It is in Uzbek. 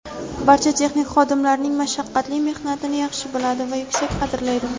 barcha texnik xodimlarning mashaqqatli mehnatini yaxshi biladi va yuksak qadrlaydi.